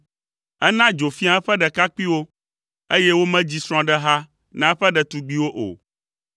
Ena dzo fia eƒe ɖekakpuiwo, eye womedzi srɔ̃ɖeha na eƒe ɖetugbiwo o.